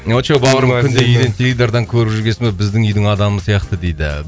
очоу бауырым үйден теледидардан көріп жүргесін ол біздің үйдің адамы сияқты дейді